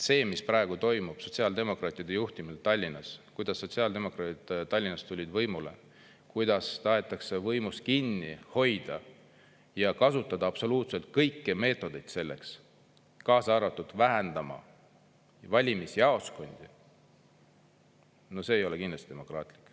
See, mis praegu toimub sotsiaaldemokraatide juhtimisel Tallinnas, kuidas sotsiaaldemokraadid Tallinnas tulid võimule, kuidas tahetakse võimust kinni hoida ja kasutada absoluutselt kõiki meetodeid selleks, kaasa arvatud vähendada valimisjaoskondi – no see ei ole kindlasti demokraatlik.